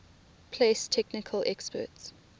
place technical experts